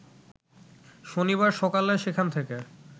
শনিবার সকালে সেখান থেকে